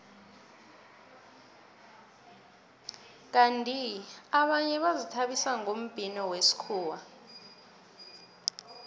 kandi abanye bazithabisa ngombhino wesikhuwa